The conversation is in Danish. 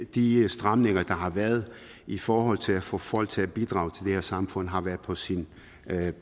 de stramninger der har været i forhold til at få folk til at bidrage til det her samfund har været på sin